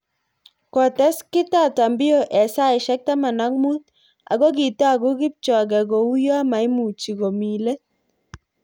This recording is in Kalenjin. Kotes Kitata Mbio eng saisyek taman ak muut ako kitagu kipchoge kouyo maimuchi komi let